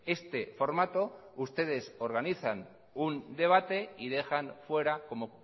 este formato ustedes organizan un debate y dejan fuera como